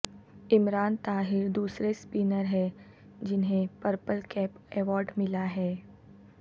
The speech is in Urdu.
عمران طاہر دوسرے سپنر ہیں جنھیں پرپل کیپ ایوارڈ ملا ہے